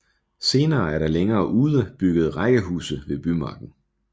Senere er der længere ude bygget rækkehuse ved Bymarken